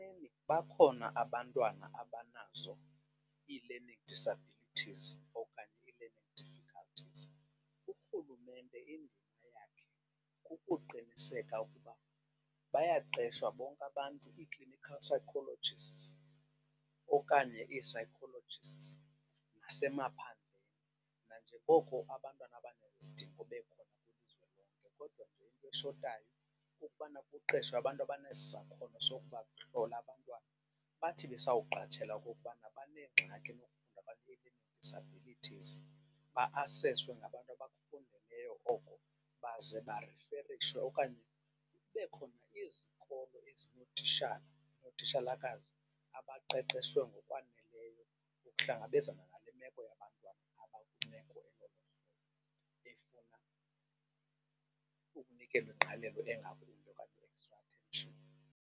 Bakhona abantwana abanazo ii-learning disabilities okanye ii-learning difficulties. URhulumente indima yakhe kukuqiniseka ukuba bayaqeshwa bonke abantu, ii-clinical psychologists okanye ii-psychologists nasemaphandleni. Nanjengoko abantwana abanezidingo bekhona kwilizwe lonke, kodwa nje into eshotayo kukubana kuqeshwe abantu abanesisakhona sokubahlola abantwana. Bathi besawuqatshelwa into yokubana baneengxaki benee-disabilities ba-aseswe ngabantu abakufundeleyo oku baze bariferishwe okanye kube khona izikolo ezinootitshala nootitshalakazi abaqeqeshwe ngokwaneleyo ukuhlangabezana nale meko yabantwana abakwimeko elolu hlobo efuna ukunikelwa ingqalelo engakumbi okanye .